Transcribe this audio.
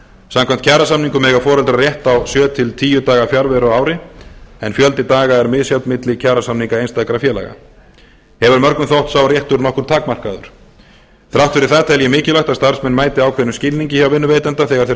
samkvæmt kjarasamningum eiga foreldrar rétt á sjö til tíu daga fjarveru á ári en fjöldi daga er misjafn milli kjarasamninga einstakra félaga hefur mörgum þótt sá réttur nokkuð takmarkaður þrátt fyrir það tel ég mikilvægt að starfsmenn mæti ákveðnum skilningi hjá vinnuveitanda þegar þeir